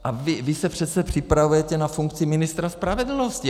A vy se přece připravujete na funkci ministra spravedlnosti.